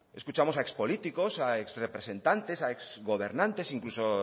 escuchamos a ex políticos a ex representantes a ex gobernantes incluso